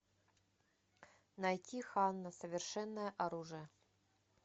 найти ханна совершенное оружие